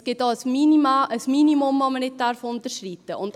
Es gibt auch ein Minimum, das man nicht unterschreiten darf.